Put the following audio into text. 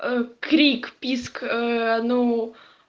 крик писк ну